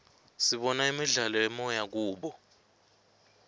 sibona imidlalo yemoya kubo